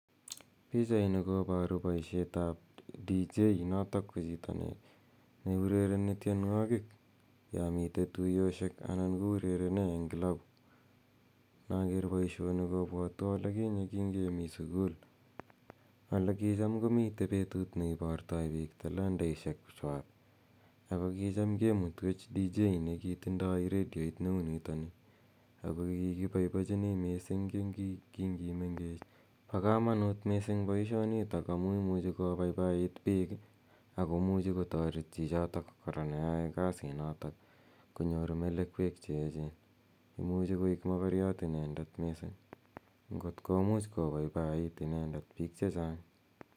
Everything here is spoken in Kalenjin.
Pichaini koparu poishet ap deejay, notok ko chito ne urereni tienwogik yan mitei tuyoshek anan ko urerene eng' kilabu. Inaker poishoni kopwatwa ole kinye kingemi sukul ole kicham ko mitei petut ne ipartai piik talantaishekwak ako kicham kemutwech deejay ne kitindaj redioit ne u nitani ako kikipaipachini missing' ki ngimengech. Pa kamanut poishonitok amu imuchi kopaipait piik si kotaret chichotok kora ne yae kasinotok konyor melekwek che echen.